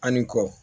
Ani kɔ